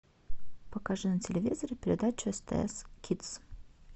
покажи на телевизоре передачу стс кидс